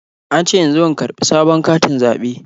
An ce in zo in karɓi sabon katin zaɓe na.